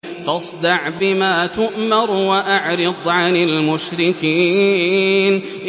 فَاصْدَعْ بِمَا تُؤْمَرُ وَأَعْرِضْ عَنِ الْمُشْرِكِينَ